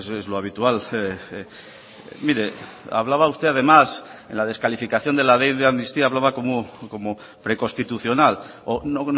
es lo habitual mire hablaba usted además en la descalificación de la ley de amnistía hablaba como preconstitucional o no